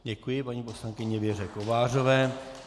Děkuji paní poslankyni Věře Kovářové.